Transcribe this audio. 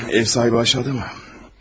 Ev sahibi aşağıda mı?